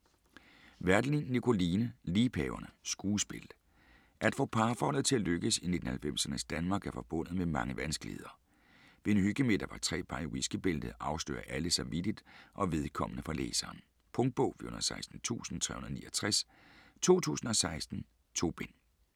Werdelin, Nikoline: Liebhaverne: skuespil At få parforhold til at lykkes i 1990'ernes Danmark er forbundet med mange vanskeligheder. Ved en hyggemiddag for tre par i whiskybæltet afslører alle sig vittigt og vedkommende for læseren. Punktbog 416369 2016. 2 bind.